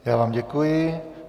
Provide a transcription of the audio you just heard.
Já vám děkuji.